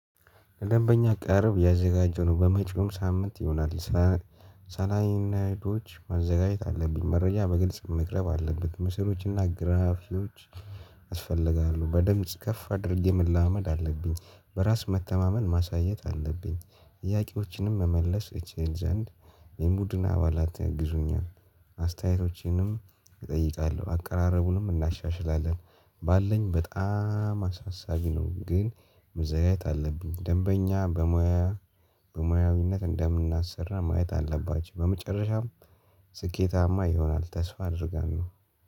ለደንበኛ ቅርብ ያዘጋጀነው በመጪውም ሳምንት ይሆናል እስላይድ ማዘጋጀት አለብኝ መረጃ በግልጽ መቅረብ አለበት ምስሎችና ግራፊዎች ያስፈልጋሉ በደምጽ ከፍ አድርጌ መለማመድ አለብኝ። በራስ መተማመን ማሳየት አለብኝ። ጥያቄዎችንም መመለስ እችል ዘንድ የቡድን አባላት ያግዙኛል። አስተያየቶቼንም እጠይቃለሁ አቀራረቡንም እናሻሽላለን። ባለኝ በጣም አሳሳቢ ነው። ግን መዘጋጀት አለብኝ ደንበኛ በሙያ በሙያዊነት እንደምናሰራ ማየት አለባች። በመጨረሻም ስኬታማ ይሆናል ተስፋ አድርጋለሁ።